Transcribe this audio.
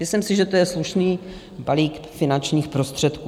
Myslím si, že to je slušný balík finančních prostředků.